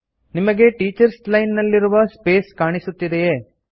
ನಿಮಗೆ teachers line ನಲ್ಲಿರುವ space ಕಾಣುತ್ತಿದೆಯೇ